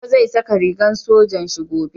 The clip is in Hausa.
Baba zai saka rigan sojan Shi gobe